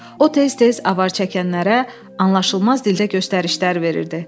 O tez-tez avar çəkənlərə anlaşılmaz dildə göstərişlər verirdi.